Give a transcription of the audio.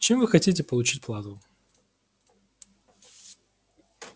чем вы хотите получать плату